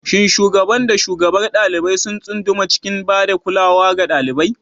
Shin shugaban da shugabar ɗalibai sun tsunduma cikin ba da kulawa ga ɗalibai?